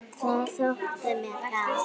Það þótti mér gaman.